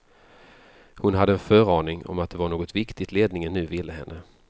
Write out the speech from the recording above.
Hon hade en föraning om att det var något viktigt ledningen nu ville henne.